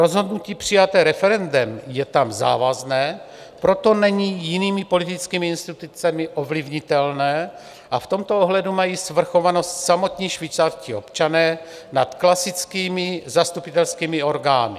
Rozhodnutí přijaté referendem je tam závazné, proto není jinými politickými institucemi ovlivnitelné, a v tomto ohledu mají svrchovanost samotní švýcarští občané nad klasickými zastupitelskými orgány.